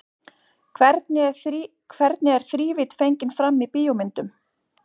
Hvernig er þrívídd fengin fram í bíómyndum?